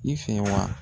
I fɛ wa